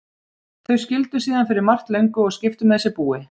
Þau skildu síðan fyrir margt löngu og skiptu með sér búi.